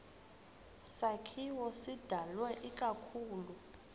sakhiwo sidalwe ikakhulu